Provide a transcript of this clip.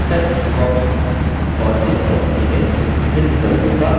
और इस पद्धिति में विभिन्न विकल्पों का अन्वेषण करिये